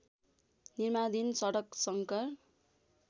निर्माणाधीन सडक शङ्कर